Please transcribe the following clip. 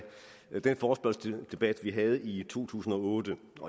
den forespørgselsdebat vi havde i to tusind og otte